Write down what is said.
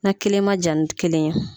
Na kelen ma jan ni kelen ye.